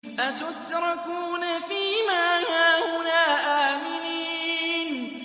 أَتُتْرَكُونَ فِي مَا هَاهُنَا آمِنِينَ